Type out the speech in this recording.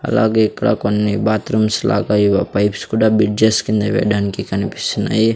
అలాగే ఇక్కడ కొన్ని బాత్రూమ్స్ లాగా ఏవో పైప్స్ కూడా బ్రిడ్జెస్ కింద వేయడానికి కన్పిస్తున్నాయి.